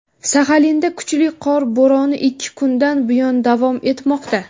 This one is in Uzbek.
Saxalinda kuchli qor bo‘roni ikki kundan buyon davom etmoqda.